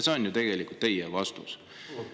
See on tegelikult teie vastus.